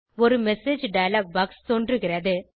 ஒரு message dialog box தோன்றுகிறது